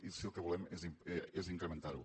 i sí el que volem és incrementar ho